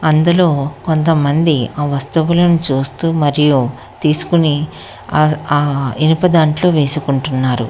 ఇందులో కొంతమంది ఆ వస్తువులను చూస్తూ మరియు తీసుకుని అ ఆ ఇనుప దాంట్లో వేసుకుంటున్నారు.